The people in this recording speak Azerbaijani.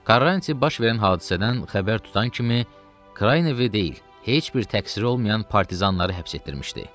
Karranti baş verən hadisədən xəbər tutan kimi Kraynevi deyil, heç bir təqsiri olmayan partizanları həbs etdirmişdi.